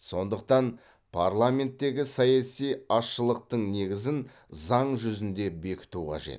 сондықтан парламенттегі саяси азшылықтың негізін заң жүзінде бекіту қажет